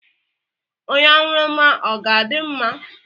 Onye aṅụrụma ọ ga-adị mma?